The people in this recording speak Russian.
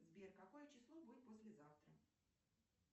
сбер какое число будет послезавтра